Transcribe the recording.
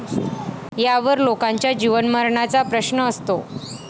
यावर लोकांच्या जीवनमरणाचा प्रश्न असतो.